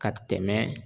Ka tɛmɛ